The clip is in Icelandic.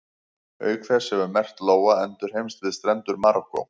Auk þess hefur merkt lóa endurheimst við strendur Marokkó.